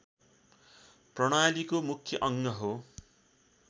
प्रणालीको मुख्य अङ्ग हो